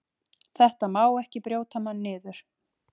Þetta má ekki brjóta mann niður.